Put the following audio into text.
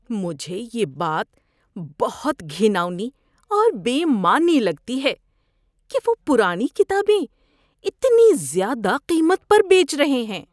مجھے یہ بات بہت گھناؤنی اور بے معنی لگتی ہے کہ وہ پرانی کتابیں اتنی زیادہ قیمت پر بیچ رہے ہیں۔